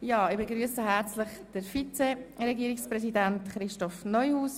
Nun begrüsse ich den Vizeregierungspräsidenten Christoph Neuhaus.